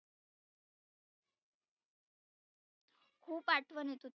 खुप आठवन येत होती.